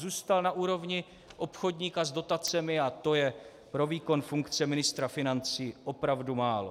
Zůstal na úrovni obchodníka s dotacemi a to je pro výkon funkce ministra financí opravdu málo.